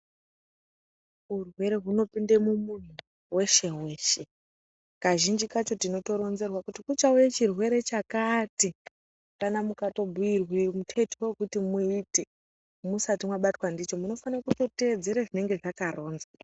Urwere hunopinde mumuntu weshe weshe kazhinji kacho tinotoronzerwe kuti kuchauye chirwere chakati kana mukatobhuirwe muteto wekuti muite musati mwabatwa ndicho munofane kutedze zvinenge zvakaronzwa.